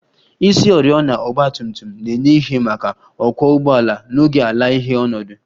Isioriọna ọgba tum tum na-enye ìhè maka ọkwọ ụgbọala n'oge ala-ìhè ọnọdụ